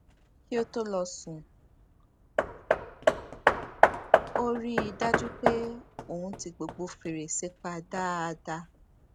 kí ó tó lọ sùn ó rí i dájú pé òun ti gbogbo fèrèsé pa dáadáa